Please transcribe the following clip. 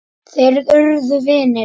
Þeir urðu vinir.